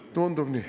Tundub nii.